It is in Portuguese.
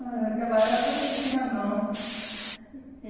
Mas naquela época não tinha, não. E